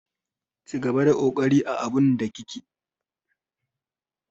Cigaba da kokari a abun da kike.